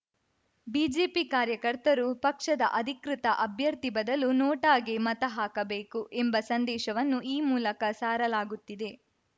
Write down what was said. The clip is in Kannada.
ಬಿಜೆಪಿ ಕಾರ್ಯಕರ್ತರು ಪಕ್ಷದ ಅಧಿಕೃತ ಅಭ್ಯರ್ಥಿ ಬದಲು ನೋಟಾಗೆ ಮತ ಹಾಕಬೇಕು ಎಂಬ ಸಂದೇಶವನ್ನು ಈ ಮೂಲಕ ಸಾರಲಾಗುತ್ತಿದೆ